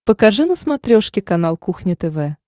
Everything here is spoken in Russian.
покажи на смотрешке канал кухня тв